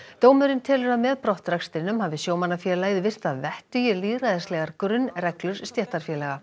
dómurinn telur að með brottrekstrinum hafi sjómannafélagið virt að vettugi lýðræðislegar grunnreglur stéttarfélaga